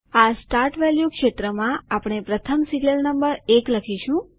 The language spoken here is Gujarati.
આ સ્ટાર્ટ વેલ્યુ ક્ષેત્રમાં આપણે પ્રથમ સીરીઅલ નંબર 1 લખીશું